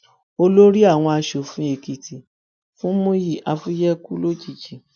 olórí àwọn asòfin èkìtì fúnmiyí afuye kù lójijì